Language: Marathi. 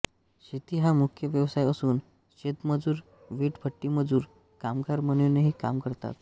शेती हा मुख्य व्यवसाय असून शेतमजूर वीटभट्टीमजूर कामगार म्हणूनही काम करतात